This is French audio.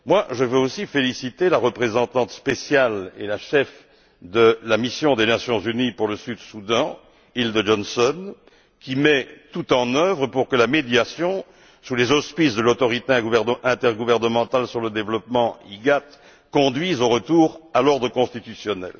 Je veux aussi féliciter la représentante spéciale et la chef de la mission des Nations Unies pour le Soudan du Sud, Hilde Johnson, qui met tout en œuvre pour que la médiation sous les auspices de l'Autorité intergouvernementale pour le développement conduise au retour à l'ordre constitutionnel.